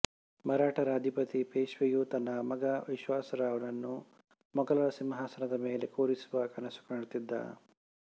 ಮರಾಠರ ಅಧಿಪತಿ ಪೇಶ್ವೆಯು ತನ್ನ ಮಗ ವಿಶ್ವಾಸರಾವ್ ನನ್ನು ಮುಘಲರ ಸಿಂಹಾಸನದ ಮೇಲೆ ಕೂರಿಸುವ ಕನಸುಕಾಣುತ್ತಿದ್ದ